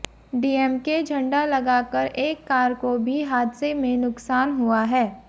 DMK झंडा लगाकर एक कार को भी हादसे में नुकसान हुआ है